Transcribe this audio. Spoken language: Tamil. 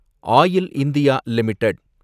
oil India limited